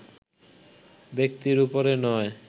ব্যক্তির উপরে নয়